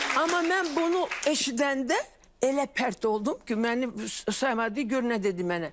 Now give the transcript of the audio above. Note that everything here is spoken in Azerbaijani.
Amma mən bunu eşidəndə elə pərt oldum ki, mənim saymadı, gör nə dedi mənə.